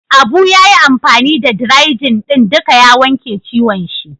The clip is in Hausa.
Abu ya yi amfani da "dry-jin " din duka ya wanke ciwon shi.